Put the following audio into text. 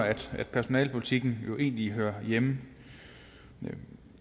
personalepolitikken egentlig hører hjemme jeg